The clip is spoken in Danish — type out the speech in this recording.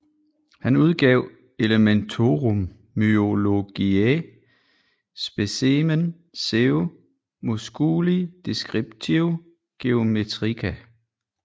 Han udgav Elementorum myologiæ specimen seu musculi descriptio geometrica